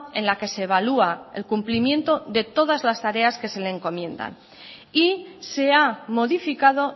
en la que se valúa el cumplimiento de todas tareas que se les encomienda y se ha modificado